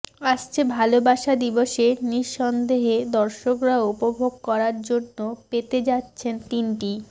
আসছে ভালোবাসা দিবসে নিঃস্বন্দেহে দর্শকরা উপভোগ করার জন্য পেতে যাচ্ছেন তিনটি